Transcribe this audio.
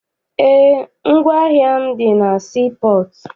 Eé, ngwaahịa m dị na sii pọọtụ.